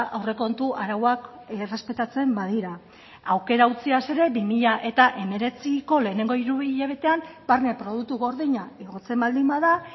aurrekontu arauak errespetatzen badira aukera utziaz ere bi mila hemeretziko lehenengo hiruhilabetean barne produktu gordina igotzen baldin bada